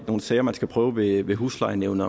nogle sager man skal prøve ved ved huslejenævnet